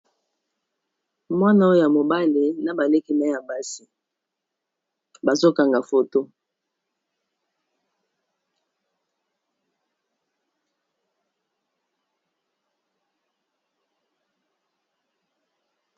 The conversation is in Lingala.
Mwana oyo ya mobale na baleki naye ya basi bazokanga foto.